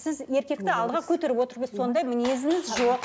сіз еркекті алдыға көтеріп отыру керексіз сондай мінезіңіз жоқ